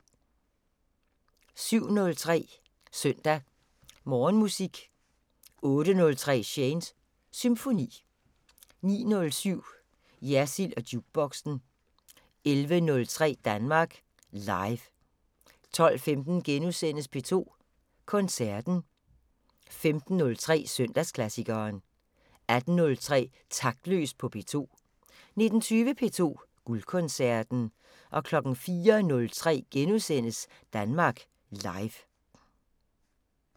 07:03: Søndag Morgenmusik 08:03: Shanes Symfoni 09:07: Jersild & Jukeboxen 11:03: Danmark Live 12:15: P2 Koncerten * 15:03: Søndagsklassikeren 18:03: Taktløs på P2 19:20: P2 Guldkoncerten 04:03: Danmark Live *